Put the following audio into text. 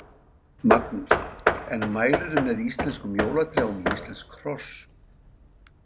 Magnús: En mælirðu með íslenskum jólatrjám í íslensk hross?